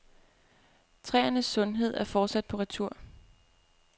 Træernes sundhed er fortsat på retur.